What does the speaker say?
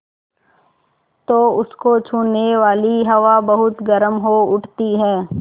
तो उसको छूने वाली हवा बहुत गर्म हो उठती है